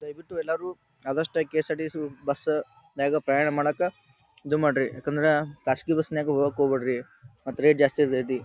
ದಯವಿಟ್ಟು ಎಲ್ಲರೂ ಆದಷ್ಟೂ K S R T C bus ದಾಗ ಪ್ರಯಾಣ ಮಾಡಾಕ ಇದು ಮಾಡ್ರಿ ಕಾಸ್ಟ್ಲಿ ಬಸ್ನಲ್ಲಿ ಹೋಗಾಕ್ ಹೋಗ್ ಬ್ಯಾಡ್ರಿ ರೇಟ್ ಜಾಸ್ತಿ ಇರತೇತಿ.